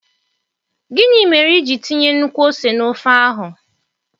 Gịnị mere iji tinye nnukwu ose na ofe áhu?